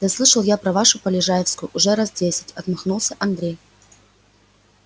да слышал я про вашу полежаевскую уже раз десять отмахнулся андрей